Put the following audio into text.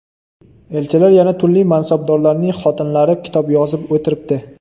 Elchilar, yana turli mansabdorlarning xotinlari kitob yozib o‘tiribdi.